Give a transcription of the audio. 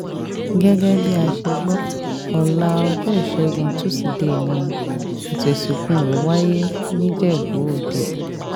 gẹ́gẹ́ bá a ṣe gbọ́ ọ̀la ọjọ́ ìṣẹ́gun tusidee ni ètò ìsìnkú rẹ̀ wáyé nìjẹ́bú-òde